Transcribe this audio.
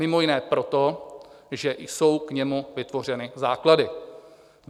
Mimo jiné proto, že jsou k němu vytvořené základy.